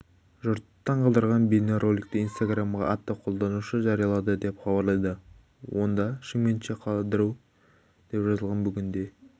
жұртты таң қалдырған бейнероликті инстаграмға атты қолданушы жариялады деп хабарлайды онда шымкентше қыдыру деп жазылған бүгінде